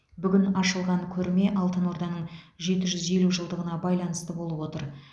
бүгін ашылған көрме алтын орданың жеті жүз елу жылдығына байланысты болып отыр